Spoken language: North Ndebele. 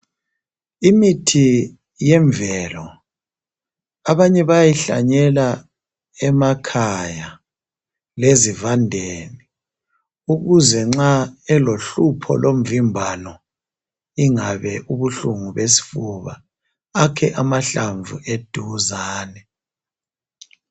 Imithi yemvelo abanye bayayihlanyela emakhaya lezivandeni ukuze nxa elohlupho lomvimbano ingabe ubuhlungu besifuba akhe amahlamvu eduzane.